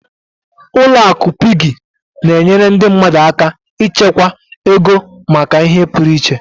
Ụlọ akụ Piggy na-enyere ndị mmadụ aka ịchekwa ego maka ihe pụrụ iche.